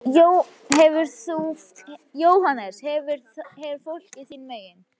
JÓHANNES: Þú hefur fólkið þín megin.